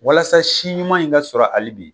Walasa si ɲuman in ka sɔrɔ hali bi